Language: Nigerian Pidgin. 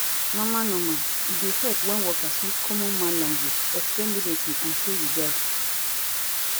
normal normal e dey help wen worker use common man language explain medicine and show regard